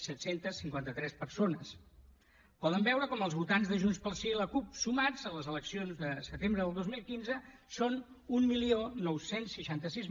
set cents i cinquanta tres persones poden veure com els votants de junts pel sí i la cup sumats a les eleccions de setembre del dos mil quinze són dinou seixanta sis